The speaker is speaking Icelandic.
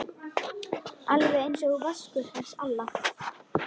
Alveg einsog Vaskur hans Alla?